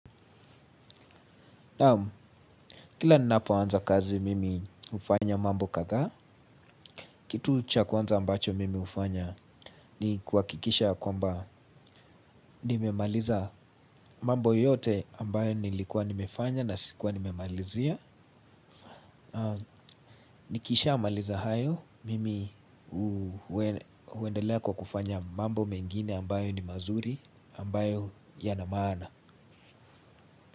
Kila ninapoanza kazi mimi hufanya mambo kadhaa, kitu cha kwanza ambacho mimi hufanya ni kuhakikisha ya kwamba nimemaliza mambo yote ambayo nilikuwa nimefanya na sikuwa nimemalizia. Nikisha maliza hayo, mimi huendelea kwa kufanya mambo mengine ambayo ni mazuri, ambayo yanamaana.